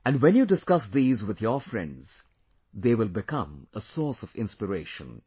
And when you discuss these with your friends, they will become a source of inspiration